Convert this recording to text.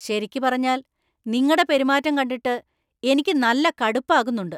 ശരിക്ക് പറഞ്ഞാല്‍, നിങ്ങടെ പെരുമാറ്റം കണ്ടിട്ട് എനിക്കു നല്ല കടുപ്പാകുന്നുണ്ട്.